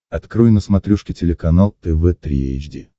открой на смотрешке телеканал тв три эйч ди